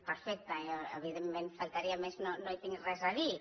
perfecte jo evidentment faltaria més no hi tinc res a dir